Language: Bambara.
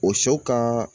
O sɛw kan